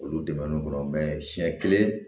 Olu dɛmɛ siɲɛ kelen